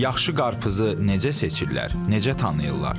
Yaxşı qarpızı necə seçirlər, necə tanıyırlar?